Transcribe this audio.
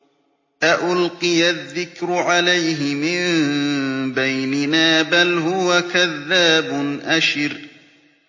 أَأُلْقِيَ الذِّكْرُ عَلَيْهِ مِن بَيْنِنَا بَلْ هُوَ كَذَّابٌ أَشِرٌ